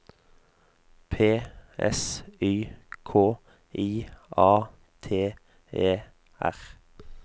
P S Y K I A T E R